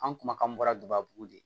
An kumakan bɔra gabugu de